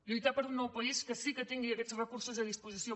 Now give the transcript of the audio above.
lluitar per un nou país que sí que tingui aquests recursos a disposició